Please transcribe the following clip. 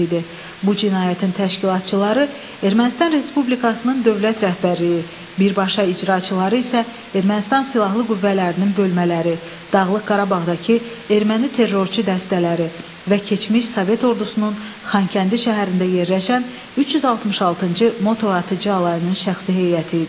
Bu cinayətin təşkilatçıları Ermənistan Respublikasının dövlət rəhbərliyi, birbaşa icraçıları isə Ermənistan silahlı qüvvələrinin bölmələri, Dağlıq Qarabağdakı erməni terrorçu dəstələri və keçmiş sovet ordusunun Xankəndi şəhərində yerləşən 366-cı motatıcı alayının şəxsi heyəti idi.